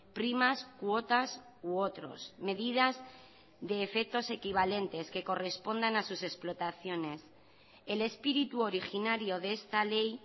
primas cuotas u otros medidas de efectos equivalentes que correspondan a sus explotaciones el espíritu originario de esta ley